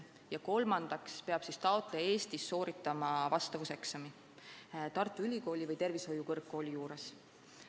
Ja kolmandaks peab taotleja Eestis sooritama vastavuseksami Tartu Ülikooli või tervishoiukõrgkooli juures.